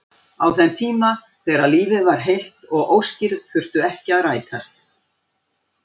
Á þeim tíma þegar lífið var heilt og óskir þurftu ekki að rætast.